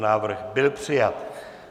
Návrh byl přijat.